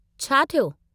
छा थियो?